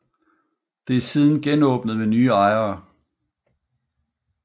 Det er siden genåbnet med nye ejere